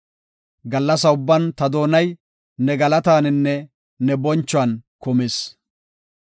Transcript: Gallasa ubban ta doonay ne galataninne ne bonchuwan kumis.